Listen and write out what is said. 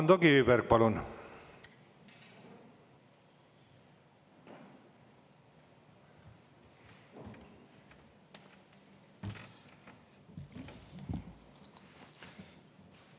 Ando Kiviberg, palun!